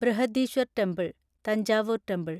Brihadeeswarar temple (Thanjavur temple)